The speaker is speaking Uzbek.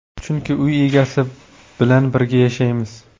Chunki uy egasi bilan birga yashaymiz.